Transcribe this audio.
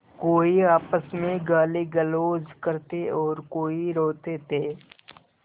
कोई आपस में गालीगलौज करते और कोई रोते थे